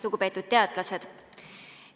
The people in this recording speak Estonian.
Lugupeetud teadlased!